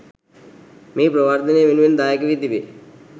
මෙහි ප්‍රවර්ධනය වෙනුවෙන් දායක වී තිබේ.